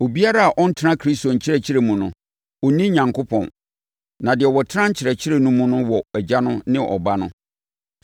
Obiara a ɔntena Kristo nkyerɛkyerɛ mu no, ɔnni Onyankopɔn. Na deɛ ɔtena nkyerɛkyerɛ no mu no wɔ Agya no ne Ɔba no.